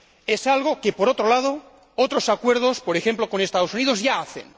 Es algo que, por otro lado, otros acuerdos, por ejemplo, con los Estados Unidos, ya hacen.